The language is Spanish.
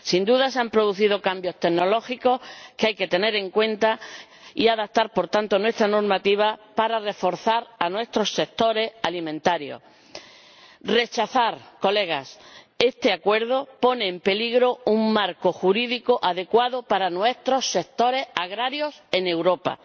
Sin duda se han producido cambios tecnológicos que hay que tener en cuenta y adaptar, por tanto, nuestra normativa para reforzar a nuestros sectores alimentarios. Rechazar, Señorías, este acuerdo pone en peligro el establecimiento de un marco jurídico adecuado para nuestros sectores agrarios en Europa.